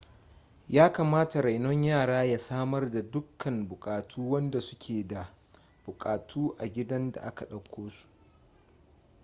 yakamata renon yara ya samar da dukkan bukatu wadanda su ke da bukatu a gidan da aka dauko su